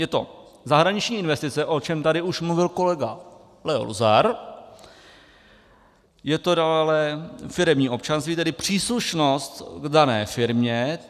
Je to zahraniční investice, o čemž už tady mluvil kolega Leo Luzar, je to dále firemní občanství, tedy příslušnost k dané firmě.